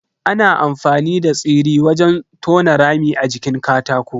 Ana amfani da tsiri wajen tona rami a jikin katako.